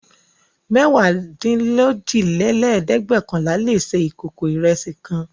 Náírà mẹ́wàádínlójìlélẹ́ẹ̀dẹ́gbẹ́ọ̀kànlà le se ìkókó ìrẹsì kan.